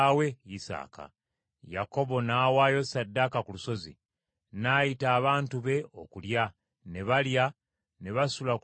Yakobo n’awaayo ssaddaaka ku lusozi; n’ayita abantu be okulya; ne balya, ne basula ku lusozi ekiro ekyo.